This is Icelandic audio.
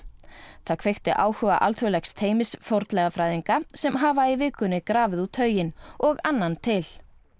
það kveikti áhuga alþjóðlegs teymis fornleifafræðinga sem hafa í vikunni grafið út hauginn og annan til